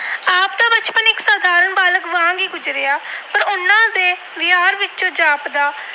ਵਿੱਚੋਂ ਗੁਜਰਿਆ ਪਰ ਉਹਨਾਂ ਦੇ ਵਿਹਾਰ ਵਿੱਚੋਂ ਜਾਪਦਾ